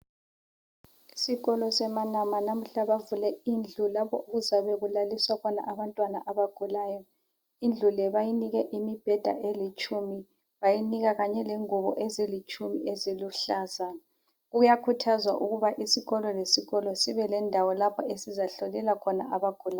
Isokolo seManama namuhla bavule indlu lapho okuzabe kulaliswa khona abantwana abagulayo. Indlu le bayinike imibheda elitshumi, bayinika kanye lengubo ezilitshumi eziluhlaza. Kuyakhuthazwa ukuba isikolo lesikolo sibe lendawo lapho esizahlolela khona abagulayo.